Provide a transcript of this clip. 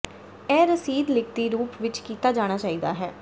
ਇਹ ਰਸੀਦ ਲਿਖਤੀ ਰੂਪ ਵਿਚ ਕੀਤਾ ਜਾਣਾ ਚਾਹੀਦਾ ਹੈ